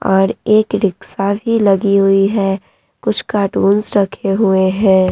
और एक रिक्शा भी लगी हुई है कुछ कार्टून्स रखे हुए हैं ।